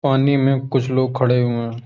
पानी में कुछ लोग खड़े हुए हैं।